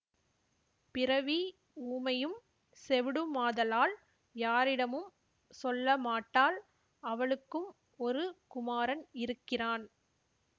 பிறவி ஊமையும் செவிடுமாதலால் யாரிடமும் சொல்லமாட்டாள் அவளுக்கும் ஒரு குமாரன் இருக்கிறான்